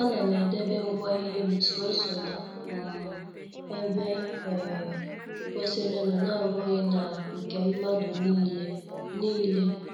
A nam edebe ngwa ihem, soso n' um ebe um kwesịrịnụ n' abụghị na nke mmadụ niile. niile.